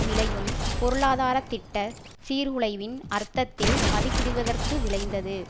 விளையும் பொருளாதார திட்டச் சீர்குலைவின் அர்த்தத்தில் மதிப்பிடுவதற்கு விழைந்தது